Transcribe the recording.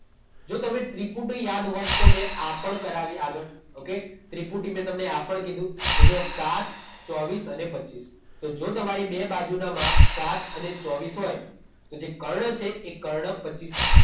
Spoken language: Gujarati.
જો તમે ત્રિપુટી યાદ હોત તો મેં આ પણ કરાવી આગળ. ઓકે? ત્રિપુટી મેં તમને આ પણ કીધું કે જો સાત, ચોવીસ અને પચીસ. તો જો તમારી બે બાજુના માપ સાત અને ચોવીસ હોય તો જે કર્ણ છે એ કર્ણ પચીસ હશે.